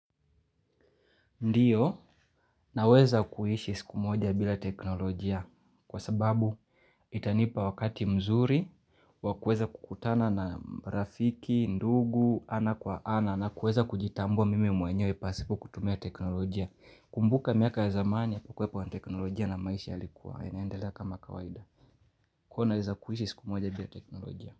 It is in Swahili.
Ndiyo, naweza kuishi siku moja bila teknolojia kwa sababu itanipa wakati mzuri, wakueza kukutana na rafiki, ndugu, ana kwa ana, na kueza kujitambua mimi mwenyewe pasipo kutumia teknolojia. Kumbuka miaka ya zamani yapakuepo na teknolojia na maisha yalikuwa, inaendelea kama kawaida. Kwa naweza kuhishi siku moja bila teknolojia.